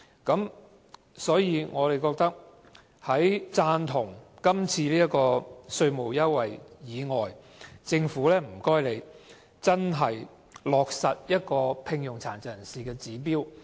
因此，我們在贊同這次的稅務優惠之餘，也想請政府落實聘用殘疾人士的指標。